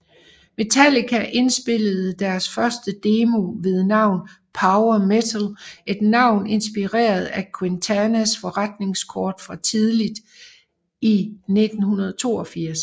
Metallica indspillede deres første demo ved navn Power Metal et navn inspireret af Quintanas forretningskort fra tidligt i 1982